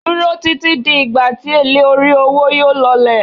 Duro titi di igba ti ele ori owo yóò lọlẹ̀